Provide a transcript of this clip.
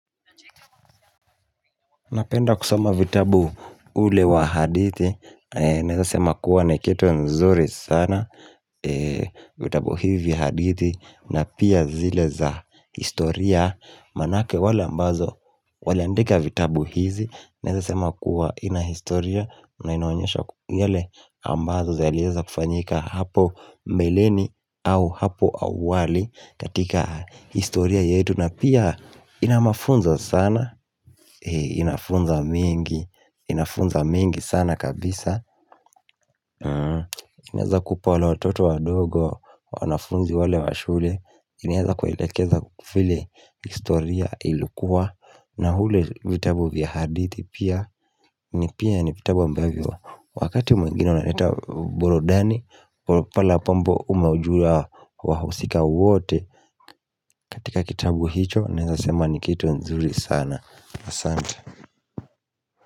Napenda kusoma vitabu ule wa hadithi Naweza sema kuwa ni kitu nzuri sana vitabu hivi hadithi na pia zile za historia Manake wale ambazo waliandika vitabu hizi Naweza sema kuwa ina historia na inaonyesha yale ambazo zaliweza kufanyika hapo mbeleni au hapo awali katika historia yetu na pia ina mafunzo sana Inafunza mengi Inafunza mengi sana kabisa inaweza kupa wale watoto wadogo wanafunzi wale wa shule inaweza kuelekeza vile historia ilikua na ule vitabu vya hadithi pia ni pia ni vitabu ambavyo Wakati mwengine wanaleta burudani pale apambo umejua wahusika wote katika kitabu hicho naweza sema ni kitu nzuri sana Asante.